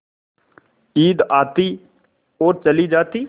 ईद आती और चली जाती